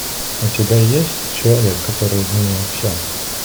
у тебя есть человек который изменил все